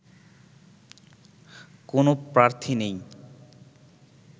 কোনো প্রার্থী নেই